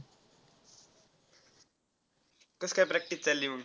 कसं काय practice चालली मंग?